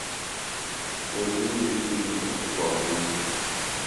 найди мультфильм простоквашино